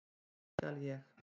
Upp skal ég.